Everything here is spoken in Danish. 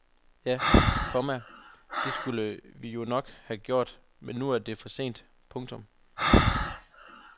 Ja, komma det skulle vi jo nok have gjort men nu er det for sent. punktum